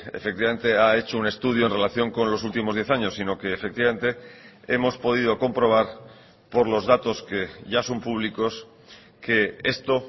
efectivamente ha hecho un estudio en relación con los últimos diez años sino que efectivamente hemos podido comprobar por los datos que ya son públicos que esto